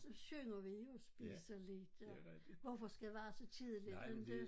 Og så synger vi jo spiser lidt og hvorfor skal være så tidligt inte